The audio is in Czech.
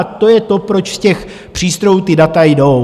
A to je to, proč z těch přístrojů ta data jdou.